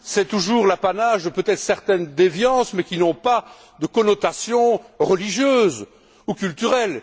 C'est toujours l'apanage de, peut être, certaines déviances, mais qui n'ont pas de connotation religieuse ou culturelle.